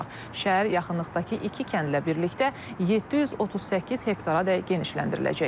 Şəhər yaxınlıqdakı iki kəndlə birlikdə 738 hektaradək genişləndiriləcək.